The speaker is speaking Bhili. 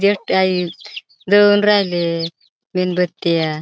देऊन राहिले मेणबत्त्या.